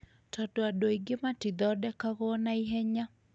tondũ andũ aingĩ matithondekagwo na ihenya.